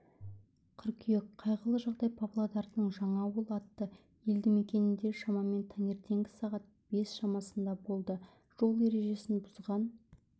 қыркүйек қайғылы жағдай павлодардың жаңауыл атты елдімекенінде шамамен таңертеңгі сағат бес шамасында болды жол ережесін бұзған